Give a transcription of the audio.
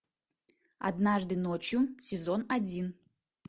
однажды ночью сезон один